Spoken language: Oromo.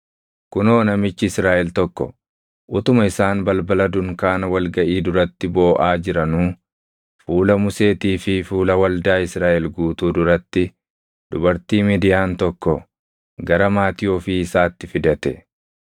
Kunoo namichi Israaʼel tokko utuma isaan balbala dunkaana wal gaʼii duratti booʼaa jiranuu fuula Museetii fi fuula waldaa Israaʼel guutuu duratti dubartii Midiyaan tokko gara maatii ofii isaatti fidate.